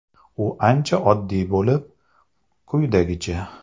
U ancha oddiy bo‘lib, quyidagicha.